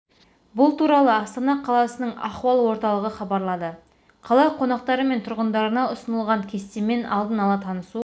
бұл туралы астана қаласының ахуал орталығы хабарлады қала қонақтары мен тұрғындарына ұсынылған кестемен алдын ала танысу